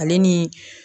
Ale ni